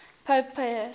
pope pius